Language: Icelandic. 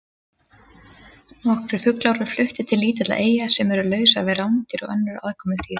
Nokkrir fuglar voru fluttir til lítilla eyja sem eru lausar við rándýr og önnur aðkomudýr.